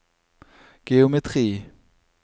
geometri